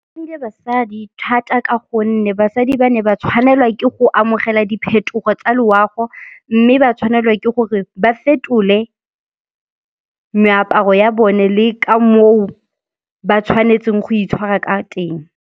basadi thata ka gonne basadi ba ne ba tshwanelwa ke go amogela diphetogo tsa loago mme ba tshwanelwa ke gore ba fetole meaparo ya bone le ka moo ba tshwanetseng go itshwara ka teng.